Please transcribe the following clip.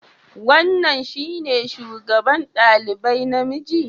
Wannan shine shugaba ɗalibai namiji?